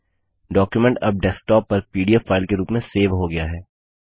document अब desktop पर PDF file के रूप में सेव हो गया है